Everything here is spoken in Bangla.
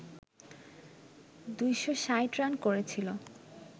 ২৬০ রান করেছিল